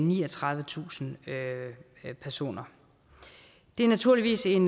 niogtredivetusind personer det er naturligvis en